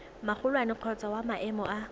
magolwane kgotsa wa maemo a